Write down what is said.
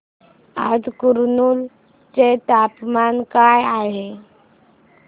आज कुरनूल चे तापमान काय आहे